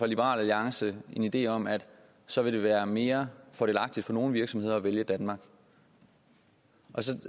liberal alliance en idé om at så vil det være mere fordelagtigt for nogle virksomheder at vælge danmark og så